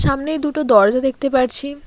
সামনেই দুটো দরজা দেখতে পারছি।